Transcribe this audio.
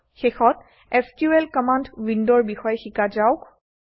শেষত SQL command উইণ্ডৰ বিষয়ে শিকা যাওক